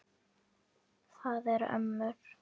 Það eru ömmur.